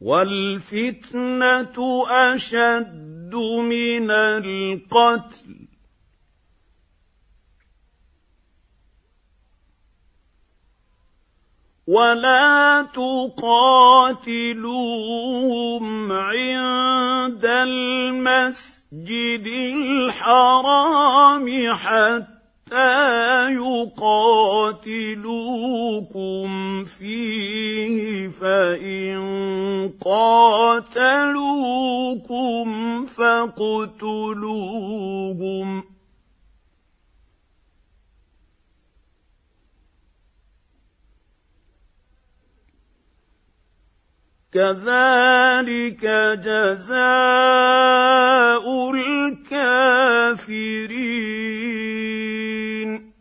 وَالْفِتْنَةُ أَشَدُّ مِنَ الْقَتْلِ ۚ وَلَا تُقَاتِلُوهُمْ عِندَ الْمَسْجِدِ الْحَرَامِ حَتَّىٰ يُقَاتِلُوكُمْ فِيهِ ۖ فَإِن قَاتَلُوكُمْ فَاقْتُلُوهُمْ ۗ كَذَٰلِكَ جَزَاءُ الْكَافِرِينَ